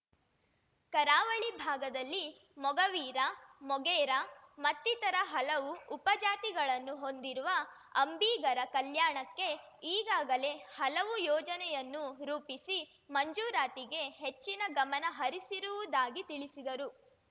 ಕರಾವಳಿ ಭಾಗದಲ್ಲಿ ಮೊಗವೀರ ಮೊಗೇರ ಮತ್ತಿತರ ಹಲವು ಉಪಜಾತಿಗಳನ್ನು ಹೊಂದಿರುವ ಅಂಬಿಗರ ಕಲ್ಯಾಣಕ್ಕೆ ಈಗಾಗಲೇ ಹಲವು ಯೋಜನೆಯನ್ನು ರೂಪಿಸಿ ಮಂಜೂರಾತಿಗೆ ಹೆಚ್ಚಿನ ಗಮನಹರಿಸಿರುವುದಾಗಿ ತಿಳಿಸಿದರು